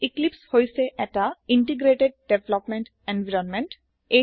এক্লিপছে হৈছে এটা ইণ্টিগ্ৰেটেড ডেভেলপমেণ্ট এনভাইৰনমেণ্ট